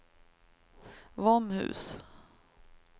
Våmhus